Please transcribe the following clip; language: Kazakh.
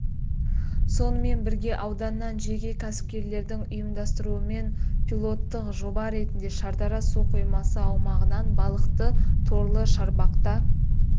сонымен бірге ауданнан жеке кәсіпкерлердің ұйымдастыруымен пилоттық жоба ретінде шардара су қоймасы аумағынан балықты торлы шарбақта